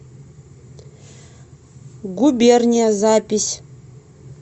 губерния запись